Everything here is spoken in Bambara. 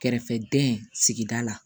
Kɛrɛfɛdɛn sigida la